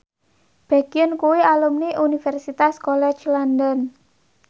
Baekhyun kuwi alumni Universitas College London